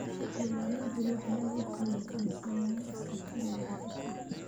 Beeraleydu waxay awoodooda ku dhisayaan iskaashi wadajir ah.